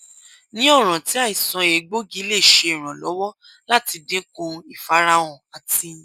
ni ọran ti aisan egboogi le ṣe iranlọwọ lati dinku ifarahan ati